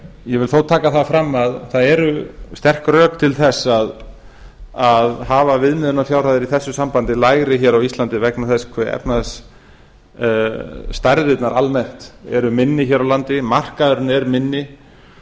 ég vil þó taka fram að það eru sterk rök til þess að hafa viðmiðunarfjárhæðir í þessu sambandi lægri á íslandi vegna þess hve efnahagsstærðirnar almennt eru minni hér á landi markaðurinn er minni